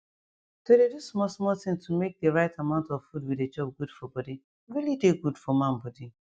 to dey do small small tin to make de rite amount of food we dey chop good for body really dey good for man body